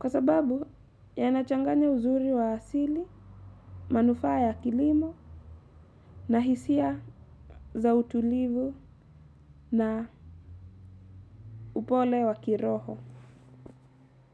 Kwa sababu yanachanganya uzuri wa asili, manufaa ya kilimo na hisia za utulivu na upole wa kiroho.